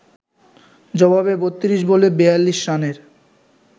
জবাবে ৩২ বলে ৪২ রানের